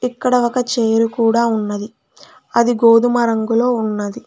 ఇక్కడ ఒక చేరు కూడా ఉన్నది అది గోధుమ రంగులో ఉన్నది.